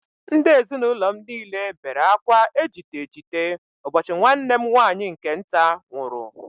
Ndị ezinụlọ m niile bere akwa ejite ejite ụbọchị nwanne m nwaanyị nke nta nwụrụ